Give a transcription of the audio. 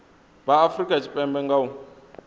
vha afurika tshipembe nga u